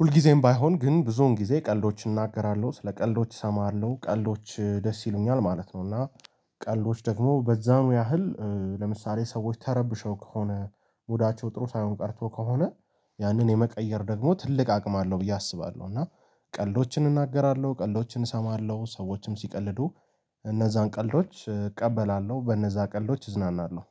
ሁልጊዜም ባይሆን ግን ብዙውን ጊዜ ቀልዶች እናገራለሁ፣ ለቀልዶች እሰማሃለሁ፣ ቀልዶች ደስ ይሉኛል ማለት ነው። እና ቀልዶች ደግሞ በዛው ያህል ለምሳሌ ሰዎች ተረብሸው፣ ከሆነ ሙዳቸው ጥሩ ሳይሆን ቀርቶ ከሆነ፣ ያንን የመቀየር ደግሞ ትልቅ አቅም አለው ብዬ አስባለሁ። እና ቀልዶችን እናገራለሁ፣ ቀልዶችን እሰማለሁ፣ ሰዎችም ሲቀልዱ እነዛን ቀልዶች እቀበላለሁ፣ በነዛ ቀልዶች እዝናናለሁ።